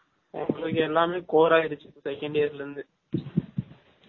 உங்கலுக்கு எல்லமே core அயிடுச்சு second year ல இருந்து